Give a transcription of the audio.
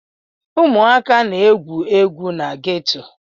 Ụmụaka na-egwu egwu na geto.